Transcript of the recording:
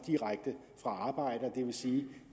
direkte fra arbejde det vil sige